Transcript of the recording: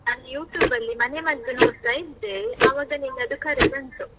ನಾನು YouTube ಅಲ್ಲಿ ಮನೆ ಮದ್ದು ನೋಡ್ತಾ ಇದ್ದೆ, ಆವಾಗ ನಿನ್ನದು ಕರೆ ಬಂತು.